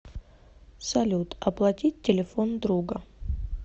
салют оплатить телефон друга